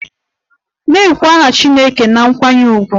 Na-ekwu aha chineke na nkwanye ùgwù!